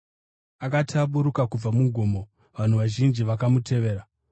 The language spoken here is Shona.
Akati aburuka kubva mugomo, vanhu vazhinji vakamutevera.